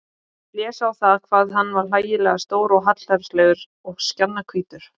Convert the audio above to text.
Hann blés á það hvað hann var hlægilega stór og hallærislegur og skjannahvítur.